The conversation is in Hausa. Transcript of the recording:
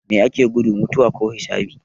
Mai ake gudu, mutuwa ko hisabi?